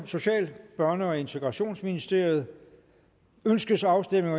social børne og integrationsministeriet ønskes afstemning